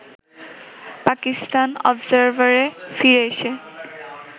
পাকিস্তান অবজারভারে ফিরে এসে